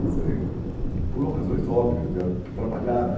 Quer dizer, por razões óbvias, era para trabalhar, né?